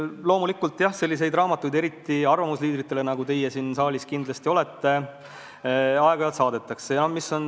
Loomulikult selliseid raamatuid, eriti arvamusliidritele, nagu teie siin saalis kindlasti olete, aeg-ajalt saadetakse.